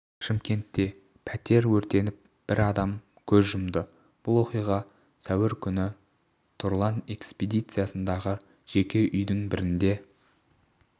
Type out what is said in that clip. шымкентте пәтер өртеніп бір адам көз жұмды бұл оқиға сәуір күні тұрлан экспедициясындағы жеке үйдің бірінде